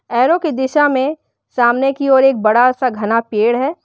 Arrow की दिशा में सामने कि ओर एक बड़ा सा घना पेड़ है।